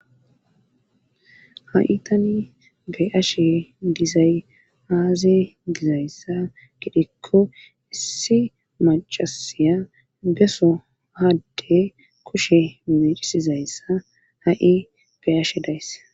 ha'i tani be'ashe dizay aaze gizayssa giidikko issi macasiya beso adde kushe mecisizayssa ha'i be'ashe days